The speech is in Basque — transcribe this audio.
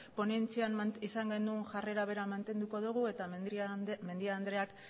ponentzian izan genuen jarrera bera mantenduko dugu eta mendia andreak